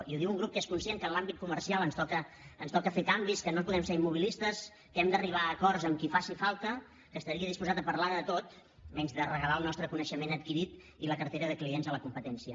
i ho diu un grup que és conscient que en l’àmbit comercial ens toca fer canvis que no podem ser immobilistes que hem d’arribar a acords amb qui faci falta que estaria disposat a parlar de tot menys de regalar el nostre coneixement adquirit i la cartera de clients a la competència